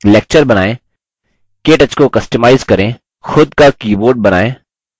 एक lecture बनाएँ